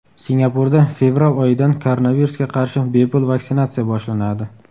Singapurda fevral oyidan koronavirusga qarshi bepul vaksinatsiya boshlanadi.